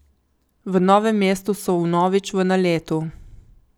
V Novem mestu so vnovič v naletu.